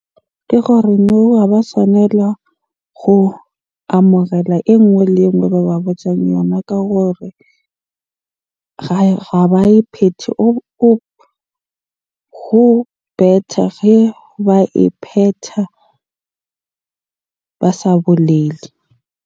Ke gore moo ha ba swanela go amohela e nngwe le e nngwe ba ba botjang yona ka gore ge ba e phethe. Ho better ge ba e phetha ba sa bolele.